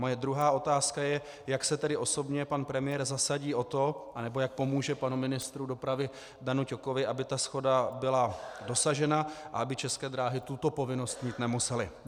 Moje druhá otázka je, jak se tedy osobně pan premiér zasadí o to, nebo jak pomůže panu ministru dopravy Danu Ťokovi, aby ta shoda byla dosažena a aby České dráhy tuto povinnost mít nemusely.